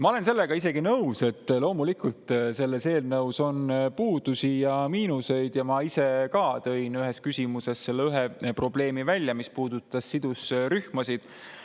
Ma olen isegi nõus sellega, et loomulikult sellel eelnõul on puudusi ja miinuseid, ja ma tõin ise ka ühes küsimuses ühe probleemi välja, mis puudutas sidusrühmasid.